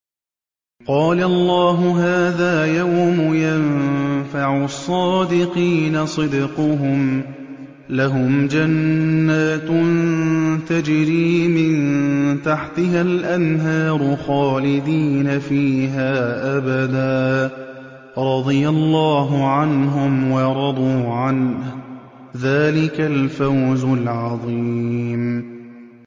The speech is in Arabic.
قَالَ اللَّهُ هَٰذَا يَوْمُ يَنفَعُ الصَّادِقِينَ صِدْقُهُمْ ۚ لَهُمْ جَنَّاتٌ تَجْرِي مِن تَحْتِهَا الْأَنْهَارُ خَالِدِينَ فِيهَا أَبَدًا ۚ رَّضِيَ اللَّهُ عَنْهُمْ وَرَضُوا عَنْهُ ۚ ذَٰلِكَ الْفَوْزُ الْعَظِيمُ